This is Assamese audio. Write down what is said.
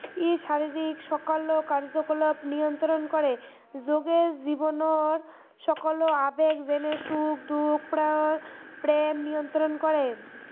ই শাৰিৰীক সকলো কাৰ্য্য়কলাপ নিয়ন্ত্ৰণ কৰে, যোগে জীৱনৰ সকলো আবেগ যেনে সুখ দুখ প্ৰা প্ৰেম নিয়ন্ত্ৰণ কৰে